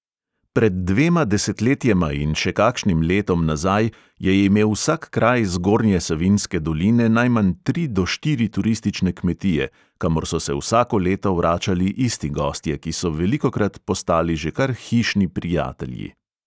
Pred dvema desetletjema in še kakšnim letom nazaj je imel vsak kraj zgornje savinjske doline najmanj tri do štiri turistične kmetije, kamor so se vsako leto vračali isti gostje, ki so velikokrat postali že kar hišni prijatelji.